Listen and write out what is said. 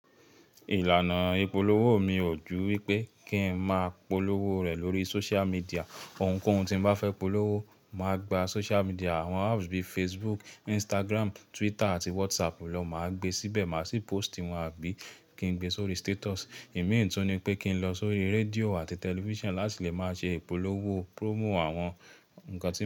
Ìlànà ìpolówó mi ò ju wípé kín ń máa polówó rẹ̀ lórí social media. Ohunkóhun tí n bá fẹ́ polówó, mà á gba social media àwọn apps bíi Facebook, Instagram, Twitter àti WhatsApp lọ. Mà á gbe síbẹ̀, mà á sì post ìwọ̀n àbí kí n gbe sórí status. Ìmi tun ni pé kí n lọ sórí rédíò àti television láti lè máa ṣe ìpolówó promo àwọn ńkan tó ń.